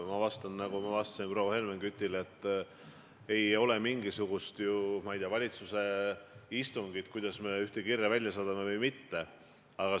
Ma vastan, nagu ma vastasin ka proua Helmen Kütile, et ei ole olnud mingisugust, ma ei tea, valitsuse istungit teemal, kuidas me ühe kirja välja saadame või kas me üldse saadame.